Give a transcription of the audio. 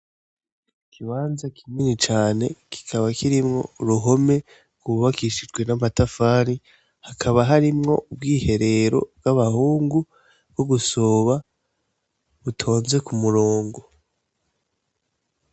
Ikibanza kinini cane, kikaba kirimwo uruhome rwubakishijwe n'amatafari, hakaba harimwo ubwiherero bw'abahungu bwo kwihagarika, butonze ku murongo.